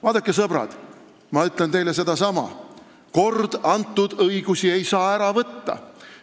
Vaadake, sõbrad, ma ütlen teile sedasama: kord antud õigusi ei saa ära võtta.